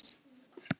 Úr hafinu.